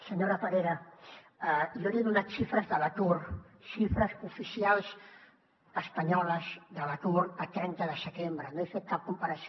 senyora parera jo li he donat xifres de l’atur xifres oficials espanyoles de l’atur a trenta de setembre no he fet cap comparació